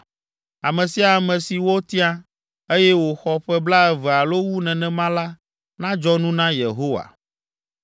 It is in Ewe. Ame sia ame si wotia, eye wòxɔ ƒe blaeve alo wu nenema la nadzɔ nu na Yehowa.